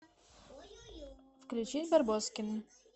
включи барбоскины